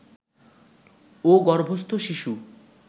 ও গর্ভস্থ শিশু